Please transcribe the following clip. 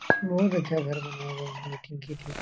बहुत अच्छा घर बनाए गए हैं मीटिंग के लिए।